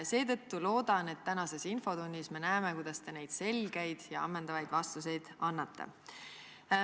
" Seetõttu loodan, et me tänases infotunnis näeme, kuidas te neid selgeid ja ammendavaid vastuseid annate.